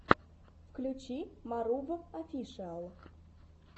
включи марув офишиал